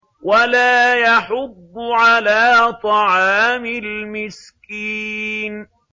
وَلَا يَحُضُّ عَلَىٰ طَعَامِ الْمِسْكِينِ